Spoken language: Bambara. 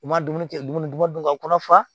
U ma dumuni kɛ dumuni ka kɔnɔ fa